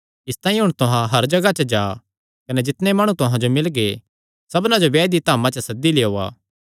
इसतांई हुण तुहां हर जगाह जा कने जितणे माणु तुहां जो मिलगे सबना जो ब्याये दिया धामा च सद्दी लेयोआ